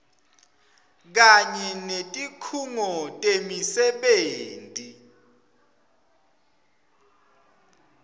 kanye netikhungo temisebenti